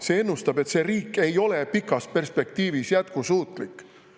See ennustab, et see riik ei ole pikas perspektiivis jätkusuutlik.